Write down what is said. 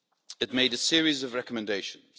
It made a series of recommendations.